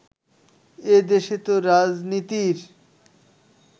এ দেশে তো রাজনীতির